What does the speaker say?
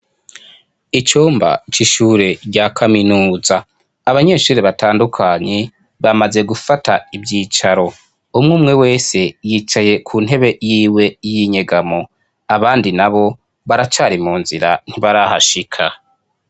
Icumba ca ishure rya kaminuza abanyeshuri batandukanye bamaze gufata ibyicaro umwe umwe wese yicaye ku ntebe yiwe y'inyegamo abandi na bo baracari mu nzira ntibarahashika.